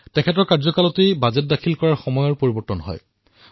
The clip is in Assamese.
তেওঁৰ কাৰ্যকালত বাজেট পৰিৱেশনৰ সময় পৰিৱৰ্তন হল